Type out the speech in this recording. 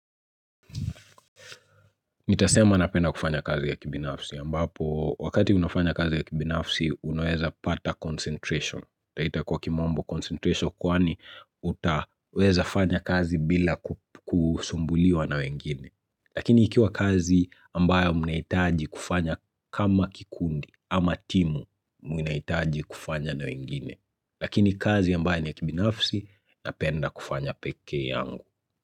Nitasema napenda kufanya kazi ya kibinafsi ambapo wakati unafanya kazi ya kibinafsi unaweza pata concentration. Twaita kwa kimombo concentration kwani utaweza fanya kazi bila kusumbuliwa na wengine. Lakini ikiwa kazi ambayo mnahitaji kufanya kama kikundi ama timu mnahitaji kufanya na wengine. Lakini kazi ambayo ni ya kibinafsi napenda kufanya peke yangu.